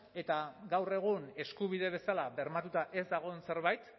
eta gaur egun eskubide bezala bermatuta ez dagoen zerbait